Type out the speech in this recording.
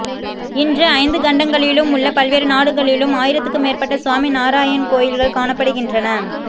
இன்று ஐந்து கண்டங்களிலும் உள்ள பல்வேறு நாடுகளிலும் ஆயிரத்துக்கு மேற்பட்ட சுவாமிநாராயண் கோயில்கள் காணப்படுகின்றன